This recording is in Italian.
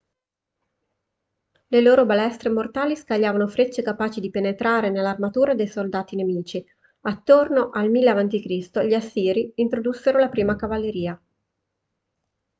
le loro balestre mortali scagliavano frecce capaci di penetrare nell'armatura dei soldati nemici attorno al 1000 a.c. gli assiri introdussero la prima cavalleria